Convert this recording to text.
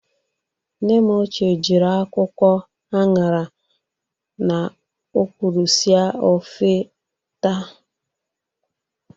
Nne m ochie jiri akwụkwọ añara na ọkwụrụ sie ofe taa